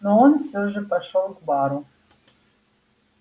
но он все же пошёл к бару